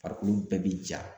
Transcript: Farikolo bɛɛ bi ja.